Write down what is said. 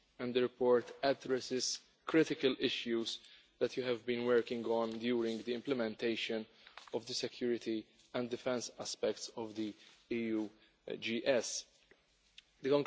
The report addresses critical issues that you have been working on during the implementation of the security and defence aspects of the EU Global Strategy The